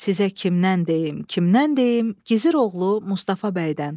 Sizə kimdən deyim, kimdən deyim, Gizir oğlu Mustafa bəydən.